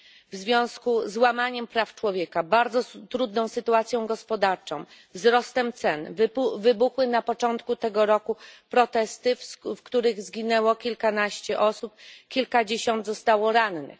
W związku z łamaniem praw człowieka, bardzo trudną sytuacją gospodarczą, wzrostem cen wybuchły na początku tego roku protesty, w których zginęło kilkanaście osób. Kilkadziesiąt zostało rannych.